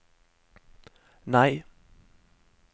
nei